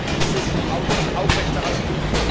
dieses Hauses aufrechterhalten.